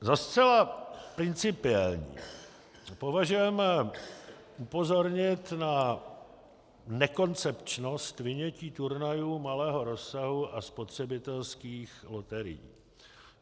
Za zcela principiální považujeme upozornit na nekoncepčnost vynětí turnajů malého rozsahu a spotřebitelských loterií.